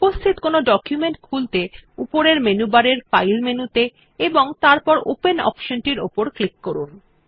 উপস্থিত কোনো ডকুমেন্ট খুলতে উপরের মেনু বারের ফাইল মেনুতে এবং তারপর ওপেন অপশনটির উপর ক্লিক করুন